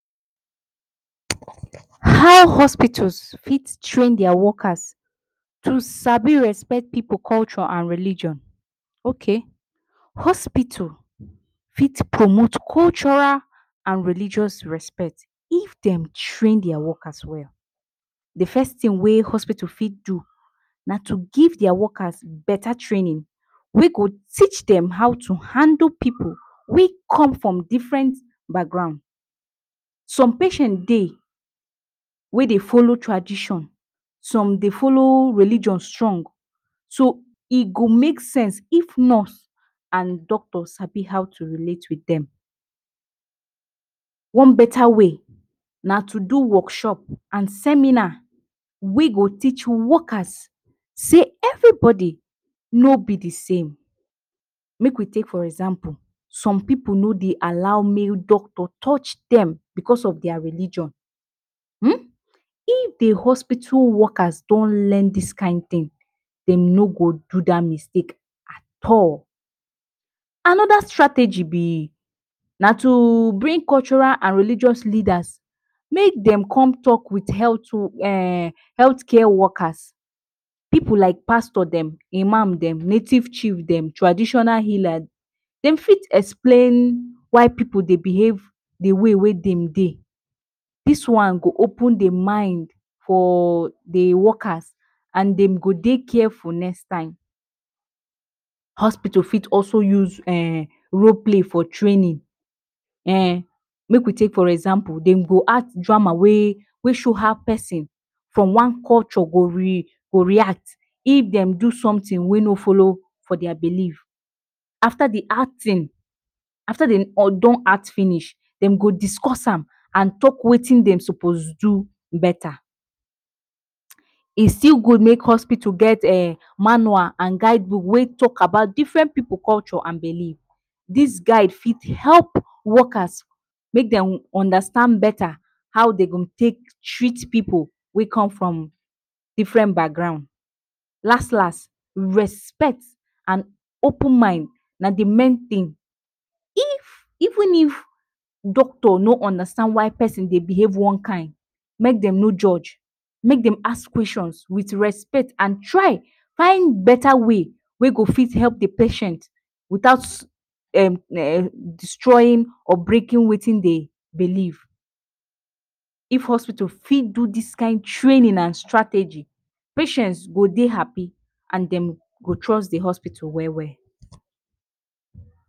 How hospital fit train dia workers to sabi respect pipu culture and religion? Ok. Hospital fit promot cultural and religious respect if dey train dia workers well. The first tin wey hospital fit do na to give dia workers beta training wey go teach dem how to handle people wey come from different background. Som patient dey wey dey folo tradition, som dey folo religion strong, so e go make sense if nurse and doctor sabi how to relate with dem. One beta way na to do workshop and seminar wey go teach workers sey everybody no be the same, make we take for example, som pipu no dey allow make doctor no dey touch dem because of dia religion.[um] if the hospital workers don learn dis kind tin, dem no go do dat mistake at all. Anoda strategy be, na to bring cultural and religious leaders, make dem come talk with health um health care workers, pipu like pastor dem, imam dem, native chief dem, traditional healer dem fit explain why pipu dey behave the way wey dem dey. Dis one go open the mind for the workers and dem go dey careful next time. Hospital fit also use um role play for trainin um make we take for example dem go add drama wey show how pesin from one culture go re go react if dem do somtin wey no folo for dia belief. Afta di acting Afta dey um don act finish dem go discuss am, and talk wetin dem sopos do beta, e still gud make hospital get um manual and guidebook wey talk about different pipu culture and belief, dis guide fit help workers make dem understand beta how dem go take treat pipu wey come from different background. Las-las, respect and open mind na the main tin if even if doctor no understand why pesin dey behave one kind, make dem no joj make dem ask question with respect and try find beta way wey go fit help the patient without um destroyin or breakin wetin dey belief. if hospital fit do dis kind training and strategy, patients go dey happy and dem go trust de hospital well well.